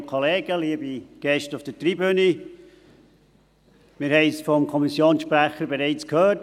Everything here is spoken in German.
Wir haben es vom Kommissionssprecher bereits gehört: